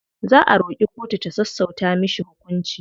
Za a roƙi kotu ta sassauta mishi hukunci.